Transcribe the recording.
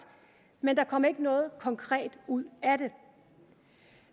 men der kom ikke noget konkret ud af det